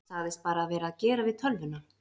Sagðist vera að gera við tölvuna